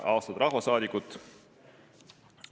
Austatud rahvasaadikud!